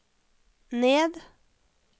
ned